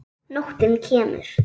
Nóttin kemur.